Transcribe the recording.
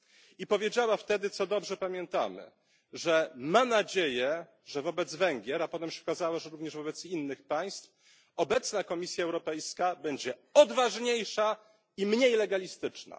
I powiedziała wtedy, co dobrze pamiętamy, że ma nadzieję, że wobec Węgier a potem się okazało, że również wobec innych państw obecna Komisja Europejska będzie odważniejsza i mniej legalistyczna.